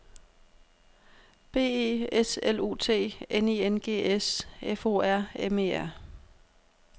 B E S L U T N I N G S F O R M E R